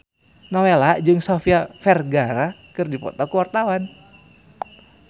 Nowela jeung Sofia Vergara keur dipoto ku wartawan